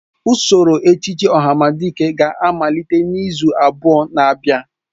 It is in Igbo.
Usoro echiche ohamadike ga-amalite n'izu abụọ na abịa.